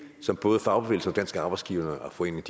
som både fagbevægelsen og dansk arbejdsgiverforening